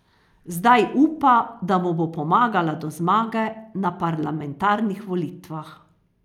Zdaj upa, da mu bo pomagala do zmage na parlamentarnih volitvah.